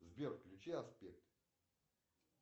сбер включи аспект